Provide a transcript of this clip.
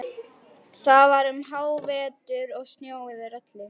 Það var um hávetur og snjór yfir öllu.